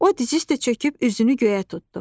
O dizüstə çöküb üzünü göyə tutdu.